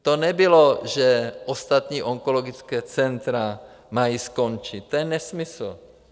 To nebylo, že ostatní onkologická centra mají skončit, to je nesmysl.